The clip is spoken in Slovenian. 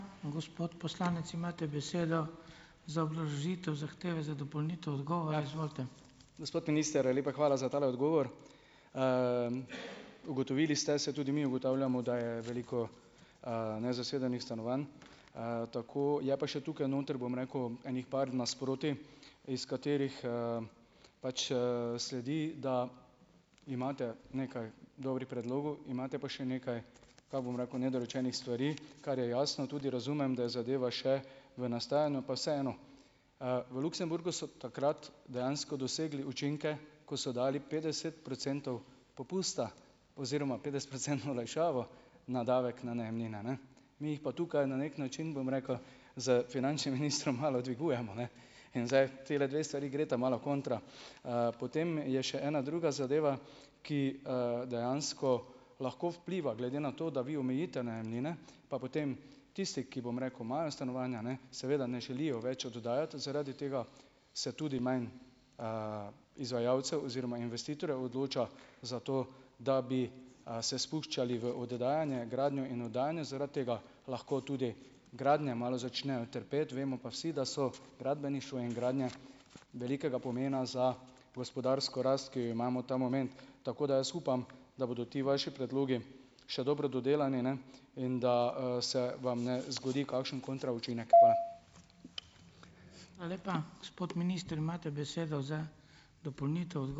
Gospod minister, lepa hvala za tale odgovor. Ugotovili ste, saj tudi mi ugotavljamo, da je veliko, nezasedenih stanovanj, tako, je pa še tukaj noter, bom rekel, ene par nasprotij, iz katerih, pač, sledi, da imate nekaj dobrih predlogov, imate pa še nekaj, tako bom rekel, nedorečenih stvari, kar je jasno. Tudi razumem, da je zadeva še v nastajanju, pa vseeno. V Luksemburgu so takrat dejansko dosegli učinke, ko so dali petdeset procentov popusta oziroma petdesetprocentno olajšavo na davek na najemnine, ne, mi jih pa tukaj na neki način, bom rekel, s finančnim ministrom malo dvigujemo, ne, in zdaj, tile dve stvari gresta malo kontra. Potem je še ena druga zadeva, ki, dejansko lahko vpliva, glede na to, da vi omejite najemnine, pa potem tisti ki, bom rekel, imajo stanovanja, ne, seveda ne želijo več oddajati, zaradi tega se tudi manj izvajalcev oziroma investitorjev odloča za to, da bi, se spuščali v oddajanje, gradnjo in oddajanje, zaradi tega lahko tudi gradnje malo začnejo trpeti, vemo pa vsi, da so gradbeništvo in gradnje velikega pomena za gospodarsko rast, ki jo imamo ta moment. Tako da jaz upam, da bodo ti vaši predlogi še dobro dodelani, ne, in da, se vam ne zgodi kakšen kontra učinek. Hvala.